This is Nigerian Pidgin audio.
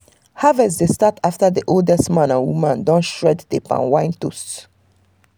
harvest dey start after the oldest man and woman don shred the palm wine toast.